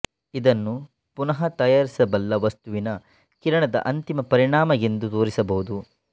ಇದನ್ನು ಪುನಃ ತಯಾರಿಸಬಲ್ಲ ವಸ್ತುವಿನ ಕಿರಣದ ಅಂತಿಮ ಪರಿಣಾಮ ಎಂದು ತೋರಿಸಬಹುದು